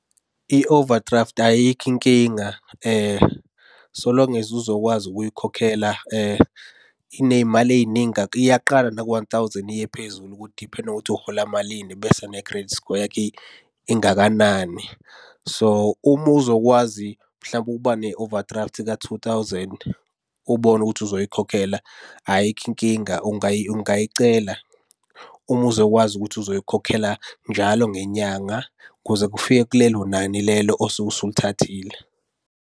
I-overdraft ayikho inkinga so long as uzokwazi ukuyikhokhela. Iney'mali ey'ningi , iyaqala naku-one thousand iye phezulu, kudiphenda ngokuthi uhola malini, bese ne-credit score yakho ingakanani. So, uma uzokwazi mhlawumpe ukuba ne-overdraft ka-two thousand ubone ukuthi uzoyikhokhela, ayikho inkinga ungayicela. Uma uzokwazi ukuthi uzoyikhokhela njalo ngenyanga ukuze kufike kulelo nani lelo osuke ulithathile.